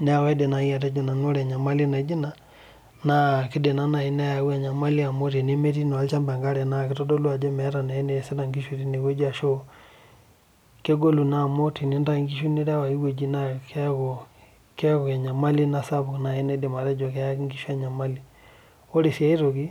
neeku kaidim naaji atejo nanu ore enyamali naijo Ina, naa kidim naa naaji ayau enyamali amu tenemetii naa olchampa enkare. naa kitodolu ajo meeta naa eneesita tine wueji ashu, kegolu naa amu te tenintayu nkishu tine wueji keeku , enyamali Ina sapuk naidim atejo keyaki nkishu enyamali. ore sii aitoki